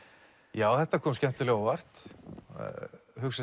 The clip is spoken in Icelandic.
já þetta kom skemmtilega á óvart hugsa